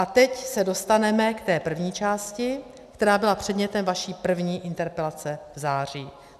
A teď se dostaneme k té první části, která byla předmětem vaší první interpelace v září.